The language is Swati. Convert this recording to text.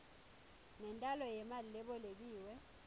nentalo yemali lebolekiwe